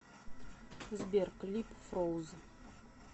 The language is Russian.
сбер клип фроуз